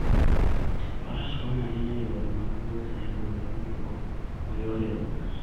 Faras konyo ahinya e yore mag wuoth e gwenge motwo ma yore onge.